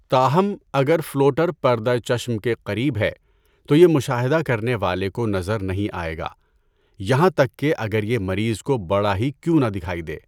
تاہم، اگر فلوٹر پردہ چشم کے قریب ہے، تو یہ مشاہدہ کرنے والے کو نظر نہیں آئے گا یہاں تک کہ اگر یہ مریض کو بڑا ہی کیوں نہ دکھائی دے۔